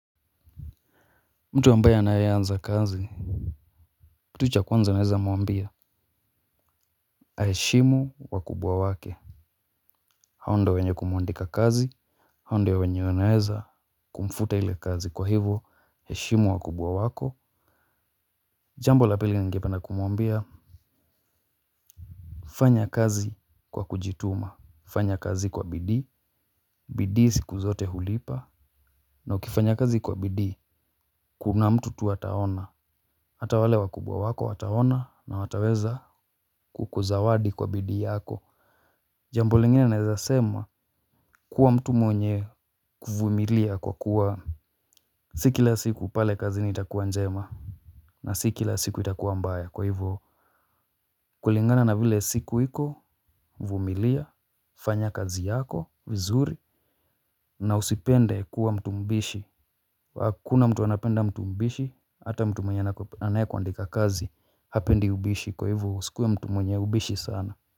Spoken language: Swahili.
Mtu ambaye anayeanza kazi kitu cha kwanza naweza muambia. Aheshimu wakubwa wake. Hao ndio wenye kumuandika kazi, hao ndio wenye wanaweza kumfuta hile kazi kwa hivo heshimu wakubwa wako. Jambo lapili ningependa kumuambia. Fanya kazi kwa kujituma. Fanya kazi kwa bidii. Bidii siku zote hulipa na ukifanya kazi kwa bidii kuna mtu tu ataona. Hata wale wakubwa wako wataona na wataweza kukuzawadi kwa bidii yako. Jambo lingine naezasema kuwa mtu mwenye kuvumilia kwa kuwa si kila siku pale kazini itakuwa njema na siki la siku itakuwa mbaya kwa hivyo kulingana na vile siku iko, vumilia, fanya kazi yako, vizuri, na usipende kuwa mtu mbishi. Hakuna mtu anapenda mtu mbishi, hata mtu mwenye anayekuandika kazi, hapendi ubishi kwa hivyo usikuwe mtu mwenye ubishi sana.